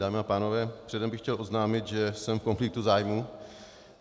Dámy a pánové, předem bych chtěl oznámit, že jsem v konfliktu zájmů.